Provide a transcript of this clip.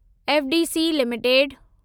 FDC limited